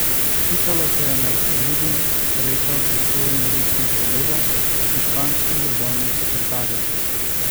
Pikalo se je med drugim srečal s svojim ruskim kolegom in španskim državnim sekretarjem.